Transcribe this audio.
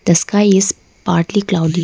the sky is partly cloudy.